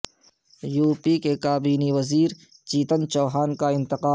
you P کے کابینی وزیر چیتن چوہان کا انتقال